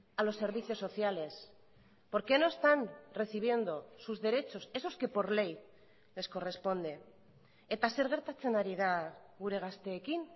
a los servicios sociales por qué no están recibiendo sus derechos esos que por ley les corresponde eta zer gertatzen ari da gure gazteekin